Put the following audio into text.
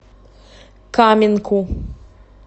каменку